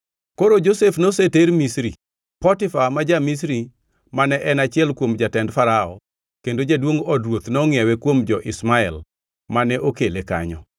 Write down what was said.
Koro Josef noseter Misri. Potifa ma ja-Misri mane en achiel kuom jatend Farao, kendo jaduongʼ od ruoth nongʼiewe kuom jo-Ishmael mane okele kanyo.